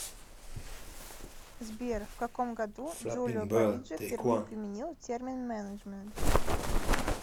сбер в каком году джулио париджи впервые применил термин менеджмент